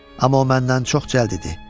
Amma o məndən çox cəld idi.